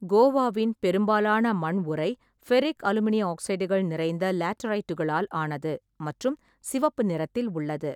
கோவாவின் பெரும்பாலான மண் உறை ஃபெர்ரிக்-அலுமினிய ஆக்சைடுகள் நிறைந்த லேட்டரைட்டுகளால் ஆனது மற்றும் சிவப்பு நிறத்தில் உள்ளது.